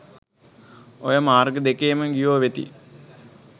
ඔය මාර්ග දෙකේම ගියෝ වෙති